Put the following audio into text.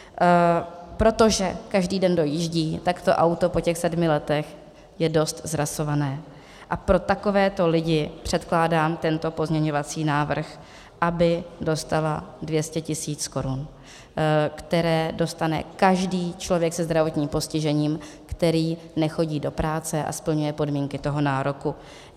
Protože každý den dojíždí, tak to auto po těch sedmi letech je dost zrasované a pro takové lidi předkládám tento pozměňovací návrh, aby dostala 200 tisíc korun, které dostane každý člověk se zdravotním postižením, který nechodí do práce a splňuje podmínky toho nároku.